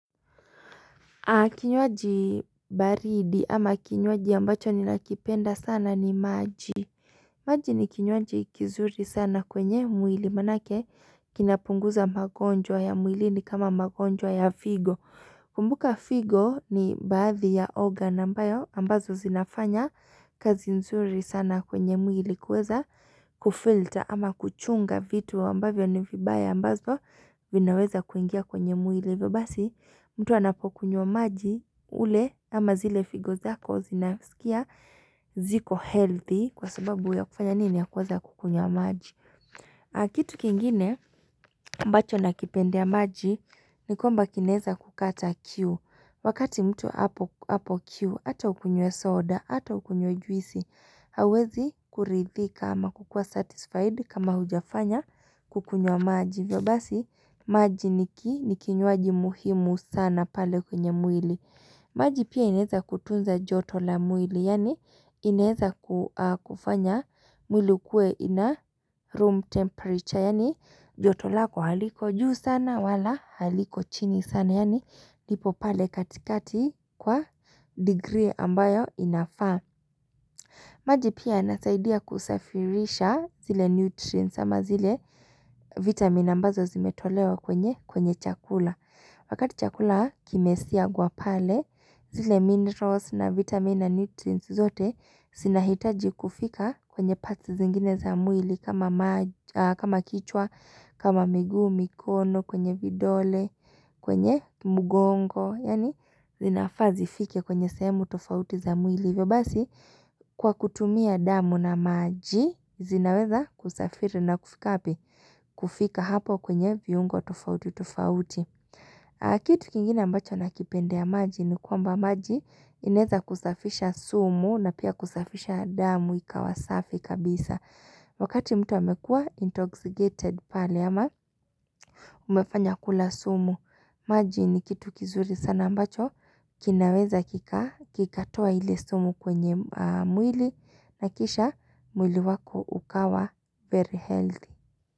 Kinywaji baridi ama kinywaji ambacho ninakipenda sana ni maji maji ni kinywaji kizuri sana kwenye mwili maanake kinapunguza magonjwa ya mwilini kama magonjwa ya figo Kumbuka figo ni baadhi ya organ ambayo ambazo zinafanya kazi nzuri sana kwenye mwili kuweza kufilter ama kuchunga vitu ambavyo ni vibaya ambazo vinaweza kuingia kwenye mwili hivyo basi mtu anapokunywa wa maji ule ama zile figo zako zinasikia ziko healthy kwa sababu ya kufanya nini ya kuweza kukunywa maji Kitu kingine mbacho nakipendea maji ni kwamba kinaeza kukata kiu Wakati mtu hapo hapo kiu ata ukunywe soda ata ukunywe juisi hawezi kuridhika ama kukuwa satisfied kama hujafanya kukunywa maji hivyo basi maji ni ki ni kinywaji muhimu sana pale kwenye mwili maji pia inaeza kutunza joto la mwili Yaani inaeza kua kufanya mwili ukue in a room temperature Yaani joto lako haliko juu sana wala haliko chini sana Yaani lipo pale katikati kwa degree ambayo inafaa maji pia inasaidia kusafirisha zile nutrients ama zile vitamina ambazo zimetolewa kwenye kwenye chakula Wakati chakula kimesiagwa pale zile minerals na vitamina nutrients zote zinahitaji kufika kwenye parts zingine za mwili kama maji kama kichwa, kama miguu, mikono, kwenye vidole, kwenye mgongo Yaani zinafaa zifikie kwenye sehemu tofauti za mwili hivyo basi kwa kutumia damu na maji zinaweza kusafiri na kufika wapi kufika hapo kwenye viungo tufauti tufauti kitu kingine ambacho nakipendea maji ni kwamba maji inaeza kusafisha sumu na pia kusafisha damu ikawa safi kabisa wakati mtu amekuwa intoxicated pale ama umefanya kula sumu maji ni kitu kizuri sana ambacho kinaweza kika kikatoa ile sumu kwenye mwili na kisha mwili wako ukawa very healthy.